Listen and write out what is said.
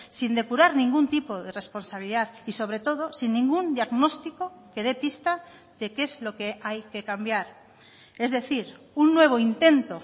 sin depurar ningún tipo de responsabilidad y sobre todo sin ningún diagnóstico que de pista de qué es lo que hay que cambiar es decir un nuevo intento